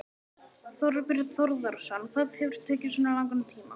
Þorbjörn Þórðarson: Hvað hefur tekið svona langan tíma?